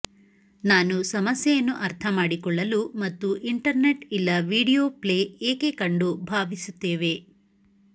ನಾನು ಸಮಸ್ಯೆಯನ್ನು ಅರ್ಥಮಾಡಿಕೊಳ್ಳಲು ಮತ್ತು ಇಂಟರ್ನೆಟ್ ಇಲ್ಲ ವೀಡಿಯೊ ಪ್ಲೇ ಏಕೆ ಕಂಡು ಭಾವಿಸುತ್ತೇವೆ